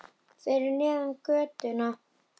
Fyrir neðan götuna.